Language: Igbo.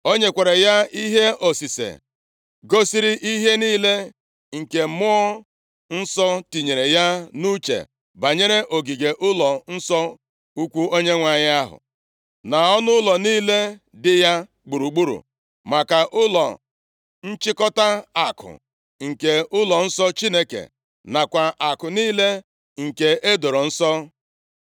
O nyekwara ya ihe osise gosiri ihe niile nke Mmụọ Nsọ tinyere ya nʼuche banyere ogige ụlọnsọ ukwuu Onyenwe anyị ahụ, na ọnụụlọ niile dị ya gburugburu, maka ụlọ nchịkọta akụ nke ụlọnsọ Chineke nakwa akụ niile nke e doro nsọ.